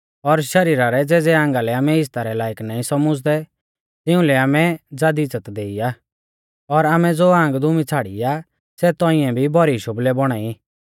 और शरीरा रै ज़ेज़ै आंगा लै आमै इज़्ज़ता रै लायक नाईं सौमझ़दै तिंउलै आमै ज़ादी इज़्ज़त देई आ और आमै ज़ो आंग दुमी छ़ाड़ी आ सै तौंइऐ भी भौरी शोबलै बौणा ई